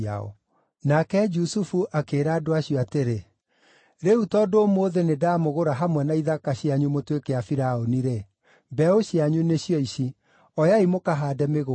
Nake Jusufu akĩĩra andũ acio atĩrĩ, “Rĩu tondũ ũmũthĩ nĩndamũgũra hamwe na ithaka cianyu mũtuĩke a Firaũni-rĩ, mbeũ cianyu nĩcio ici; oyai mũkahaande mĩgũnda.